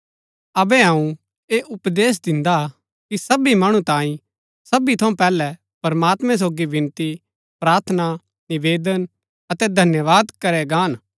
अबै अऊँ ऐह उपदेश दिन्दा कि सबी मणु तांई सबी थऊँ पैहलै प्रमात्मैं सोगी विनती प्रार्थना निवेदन अतै धन्यवाद करै गाहन